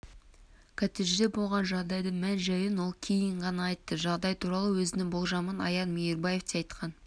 коттеджде болған жағдайдың мән-жайын ол кейін ғана айтты жағдай туралы өзінің болжамын аян мейірбаев те айтқан